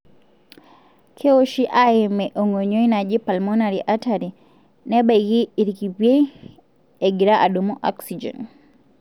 keoshi aimie engonyoi naji pulmonary artery neibaki ikipiei, engira adumu oxygen.